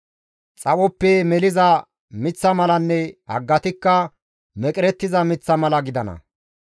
Xaphoppe meliza miththa malanne haggatikka meqerettiza miththa mala gidana.